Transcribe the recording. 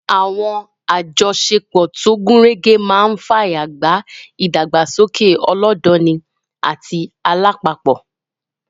Àwọn àjọṣepọ̀ tó gúnrégé máa fààyè gba ìdàgbàsókè ọlọ́dọni àti alápapọ̀